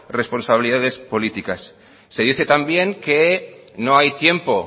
responsabilidades políticas se dice también que no hay tiempo